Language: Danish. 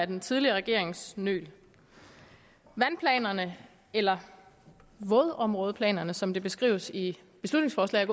den tidligere regerings nøl vandplanerne eller vådområdeplanerne som de beskrives i beslutningsforslaget